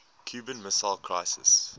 cuban missile crisis